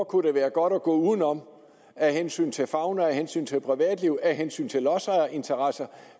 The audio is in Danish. kunne det være godt at gå udenom af hensyn til fauna af hensyn til privatliv af hensyn til lodsejerinteresser